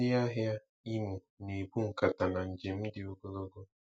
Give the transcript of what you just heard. Ndị ahịa Imo na-ebu nkata na njem dị ogologo.